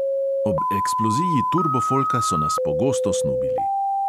Ob eksploziji turbofolka so nas pogosto snubili.